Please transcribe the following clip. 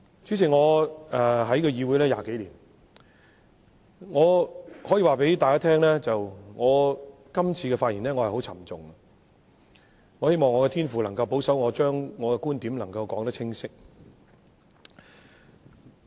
主席，我在議會20多年，我可以告訴大家，我這次發言心情很沉重，我希望我的天父能夠保守我把觀點清楚說出。